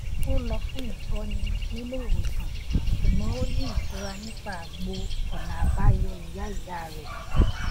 ó lọ fún ìtọni nílé ìwòsàn ṣùgbọn ó ní ìtura nípa àgbo ọnà àbáyọ ìyá ìyá rẹ